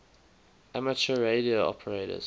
amateur radio operators